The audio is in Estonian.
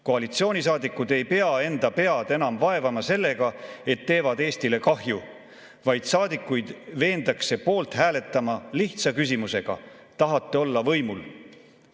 Koalitsioonisaadikud ei pea enda pead enam vaevama sellega, et teevad Eestile kahju, vaid saadikuid veendakse poolt hääletama lihtsa küsimusega – tahate olla võimul?